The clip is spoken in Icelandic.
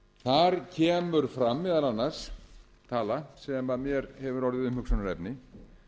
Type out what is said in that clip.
þar kemur fram meðal annars tala sem mér hefur orðið umhugsunarefni